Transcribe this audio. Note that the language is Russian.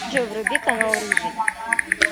джой вруби канал рыжий